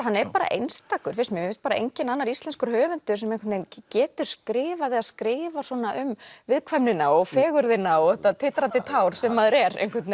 hann er bara einstakur finnst mér mér finnst enginn annar íslenskur höfundur sem einhvern veginn getur skrifað eða skrifar svona um viðkvæmnina og fegurðina og þetta titrandi tár sem maður er einhvern